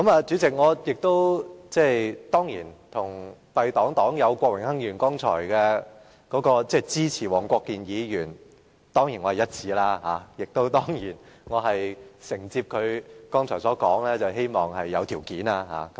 主席，敝黨黨友郭榮鏗議員剛才表示支持黃國健議員動議的中止待續議案，我與他意向一致，我亦承接他剛才所說，希望有條件支持黃議員的議案。